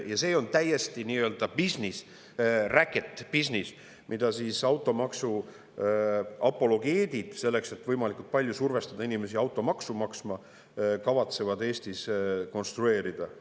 Ja see on täiesti bisnis, racket business, mida automaksu apologeedid selleks, et võimalikult palju survestada inimesi automaksu maksma, kavatsevad Eestis konstrueerida.